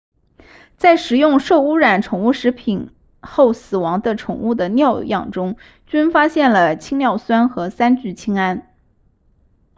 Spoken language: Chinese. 在食用受污染宠物食品后死亡的宠物的尿样中均发现了氰尿酸和三聚氰胺